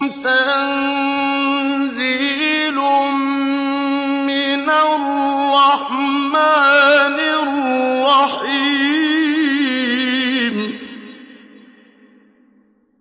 تَنزِيلٌ مِّنَ الرَّحْمَٰنِ الرَّحِيمِ